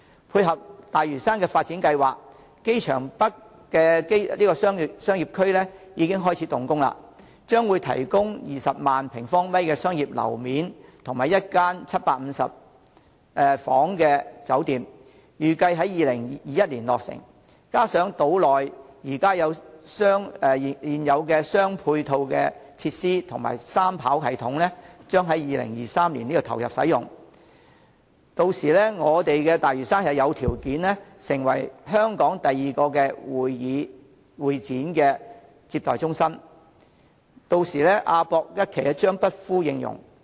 配合大嶼山發展計劃，機場北商業區已經開始動工，將會提供20萬平方米商業樓面及一間有750間客房的酒店，預計在2021年落成，加上島內現有的配套設施及三跑道系統將於2023年投入使用，大嶼山有條件成為香港第二個會展接待中心，屆時亞博館一期將不敷應用。